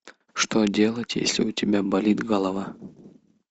что делать если у тебя болит голова